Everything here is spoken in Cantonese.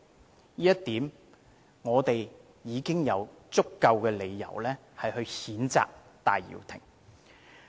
單就這一點，我們已經有足夠理由譴責戴耀廷。